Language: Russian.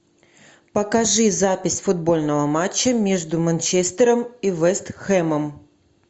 покажи запись футбольного матча между манчестером и вест хэмом